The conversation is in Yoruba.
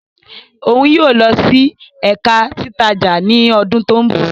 Oun yóò lọ si Ẹka Titaja ni ọdun to nbọ